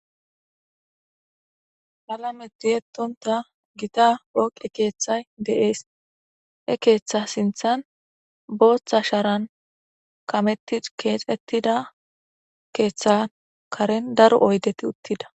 Halameti ettonta gita oqi keeththay de'ees e keeththa sinthan booththa sharan kametti keexettida keeththa karen daro oydeti uttida